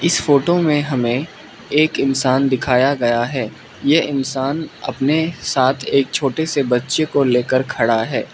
इस फोटो में हमें एक इंसान दिखाया गया है ये इंसान अपने साथ एक छोटे से बच्चे को लेकर खड़ा है।